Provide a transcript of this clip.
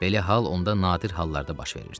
Belə hal onda nadir hallarda baş verirdi.